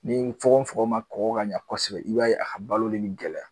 Ni fukon fukon ma kɔkɔ ka ɲɛ kosɛbɛ, i b'a ye, a ka balo nin gɛlɛya